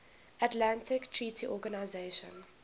atlantic treaty organisation